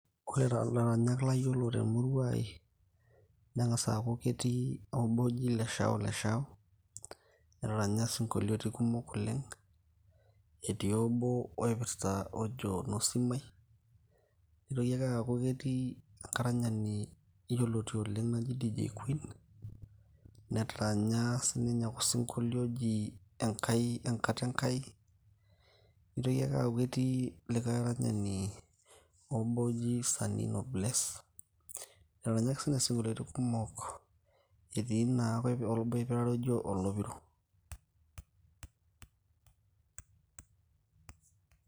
ore taa ilaranyak layiolo temurua ai neng'as aaku ketii oobo oji Leshao leshao netaranya sinkoliotin kumok oleng etii obo oipirrta ojo nosim ai, nitoki ake aaku ketii enkaranyani yioloti oleng naji dj queen netaranya sininye osinkolio oji Enkai enkata Enkai nitoki ake aaku ketii likay aranyani obo oji sanino bless netaranya ake sininye isinkoliotin kumok etii naake obo oipirare ojo olopiro.